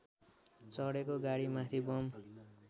चढेको गाडीमाथि बम